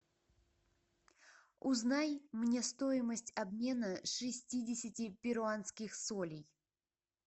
узнай мне стоимость обмена шестидесяти перуанских солей